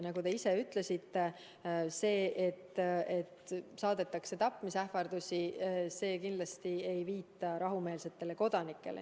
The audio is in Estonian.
Nagu te ise ütlesite: kui saadetakse tapmisähvardusi, see kindlasti ei viita rahumeelsetele kodanikele.